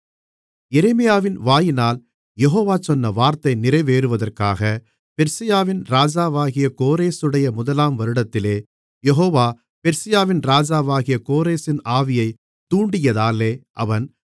எரேமியாவின் வாயினால் யெகோவா சொன்ன வார்த்தை நிறைவேறுவதற்காக பெர்சியாவின் ராஜாவாகிய கோரேசுடைய முதலாம் வருடத்திலே யெகோவா பெர்சியாவின் ராஜாவாகிய கோரேசின் ஆவியைத் தூண்டியதாலே அவன்